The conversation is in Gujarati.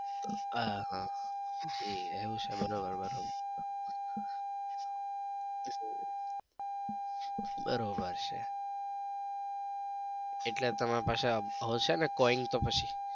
આહ એવું છે બરાબર બરાબર બરોબર છે એટલે તમારા પાસે હશે ને coin તો પછી.